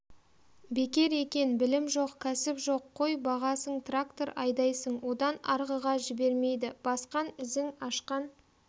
бекер екен білім жоқ кәсіп жоқ қой бағасың трактор айдайсың одан арғыға жібермейді басқан ізің ашқан